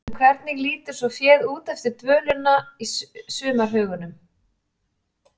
En hvernig lítur svo féð út eftir dvölina í sumarhögunum?